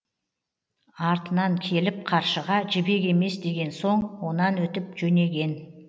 артынан келіп қаршыға жібек емес деген соң онан өтіп жөнеген